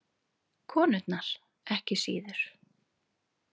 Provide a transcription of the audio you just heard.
Konurnar ekki síður.